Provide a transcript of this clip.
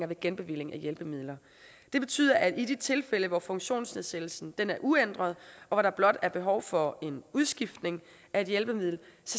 ved genbevilling af hjælpemidler det betyder at i de tilfælde hvor funktionsnedsættelsen er uændret og der blot er behov for en udskiftning af et hjælpemiddel